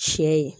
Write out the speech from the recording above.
Sɛ ye